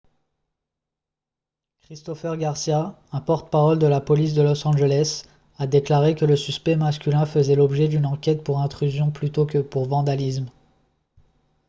christopher garcia un porte-parole de la police de los angeles a déclaré que le suspect masculin faisait l'objet d'une enquête pour intrusion plutôt que pour vandalisme